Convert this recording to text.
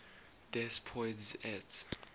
des poids et